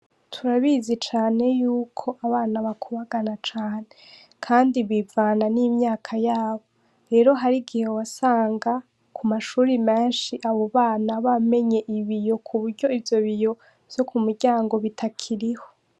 Turabizi cane y'uko abana bakubagana cane, kandi bivana n'imyaka yabo, rero hariho igihe wasanga kumashure menshi abo bana bamenye ibiyo kuburyo ivyo biyo vyo miryango bitakiriho.